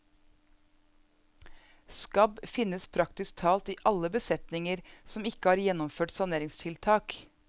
Skabb finnes praktisk talt i alle besetninger som ikke har gjennomført saneringstiltak.